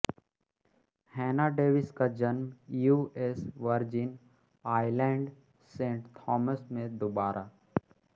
हैना डेविस का जन्म U S Virgin Island Saint Thomas में देबोरा